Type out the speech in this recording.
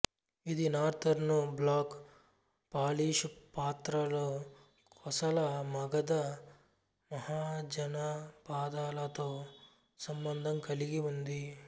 ఇది northern black polish పాత్రలు కోసల మగధ మహాజనపదాలతో సంబంధం కలిగి ఉంది